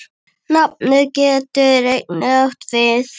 Nafnið getur einnig átt við